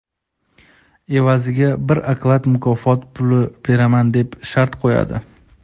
evaziga bir oklad mukofot puli beraman deb shart qo‘yadi.